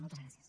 moltes gràcies